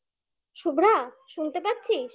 শুভ্রা শুনতে পাচ্ছিস?